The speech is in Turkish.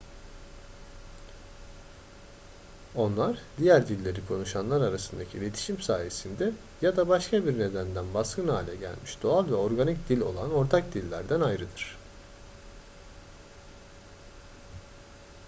onlar diğer dilleri konuşanlar arasındaki iletişim sayesinde ya da başka bir nedenden baskın hale gelmiş doğal veya organik dil olan ortak dillerden ayrıdır